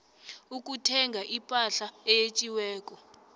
ukuthenga ipahla eyetjiweko